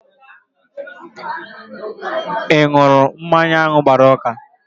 Ị ṅụrụ mmanya ahụ gbara ụka?